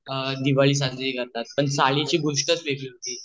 दिवाळी साजरी करतात पण चाळीची गोष्टच वेगळे होती